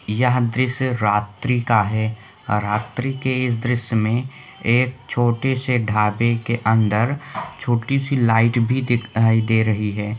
यह द्रश्य रात्री का है रात्री के इस दृश्य मे एक छोटे से ढाबे के अंदर छोटी सी लाइट दिखाई दे रही हैं।